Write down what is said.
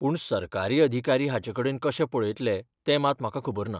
पूण सरकारी अधिकारी हाचेकडेन कशें पळयतले ते मात म्हाका खबर ना.